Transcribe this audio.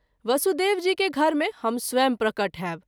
वसुदेव जी के घर मे हम स्वयं प्रकट होयब।